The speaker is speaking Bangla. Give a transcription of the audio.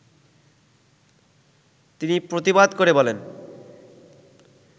তিনি প্রতিবাদ করে বলেন